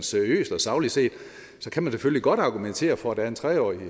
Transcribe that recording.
seriøst og sagligt set kan man selvfølgelig godt argumentere for at der er en tre årig